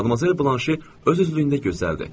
Madmazel Blanşe öz üzlüyündə gözəldir.